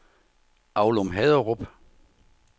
Aulum-Haderup